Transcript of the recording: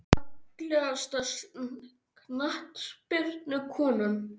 Fallegasta knattspyrnukonan?